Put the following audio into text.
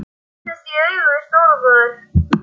Ég horfðist í augu við Stóra bróður.